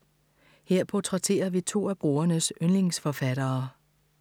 Her portrætterer vi to af brugernes yndlingsforfattere.